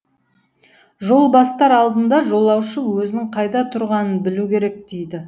жол бастар алдында жолаушы өзінің қайда тұрғанын білу керек дейді